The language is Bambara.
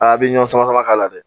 bi ɲɔ samama k'a la dɛ